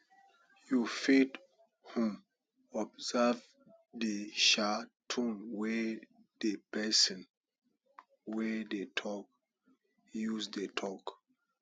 you fit um observe di um tone wey di person wey dey talk use dey talk